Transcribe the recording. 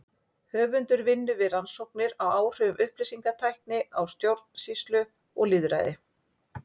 Höfundur vinnur við rannsóknir á áhrifum upplýsingatækni á stjórnsýslu og lýðræði.